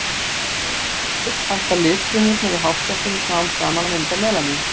Þegar fólk eldist hætta litfrumurnar í hársekkjunum smám saman að mynda melanín.